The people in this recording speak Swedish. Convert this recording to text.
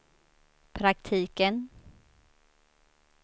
praktiken